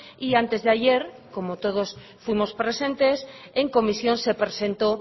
y antes de ayer como todos fuimos presentes en comisión se presentó